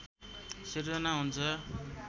सिर्जना हुन्छ